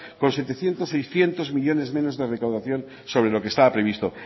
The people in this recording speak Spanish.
con setecientos seiscientos millónes menos de recaudación sobre lo que estaba previsto